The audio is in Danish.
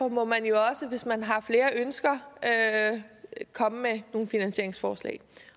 må man jo også hvis man har flere ønsker komme med nogle finansieringsforslag